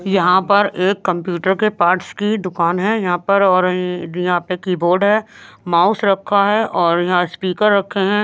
यहाँ पर एक कंप्यूटर के पार्ट्स की दुकान है यहाँ पर और यहाँ पे कीबोर्ड है माउस रखा है और यहाँ स्पीकर रखे हैं।